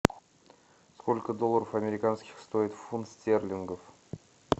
сколько долларов американских стоит фунт стерлингов